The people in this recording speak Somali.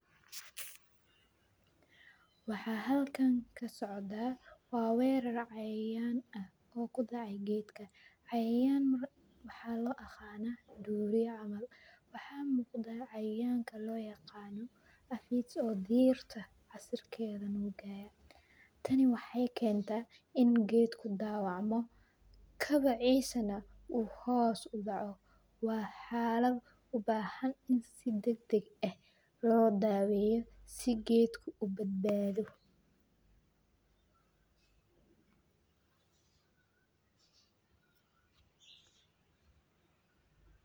Waxaa halkan socda waa weerar cayayan ah oo kudacey geedka cayayaan waxaa loo aqana duuriya camal waxa muqda cayayanka looyaqana afidosdirta casiirkedha nuugaya, tani waxey kenta in geedku dawacmo kabaciisa neh uu hios udoco waa xalad ubaahan in si dagdag eh loo daweyo si geedku ubadbaadho.